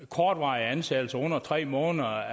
kortvarige ansættelser på under tre måneder